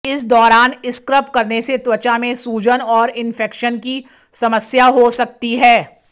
इस दौरान स्क्रब करने से त्वचा में सूजन और इंफेक्शन की समस्या हो सकती है